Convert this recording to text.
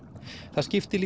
það skiptir